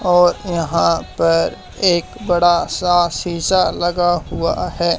और यहां पर एक बड़ा सा सीसा लगा हुआ है।